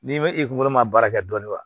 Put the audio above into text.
N'i bɛ i kunkolo man baara kɛ dɔɔnin wa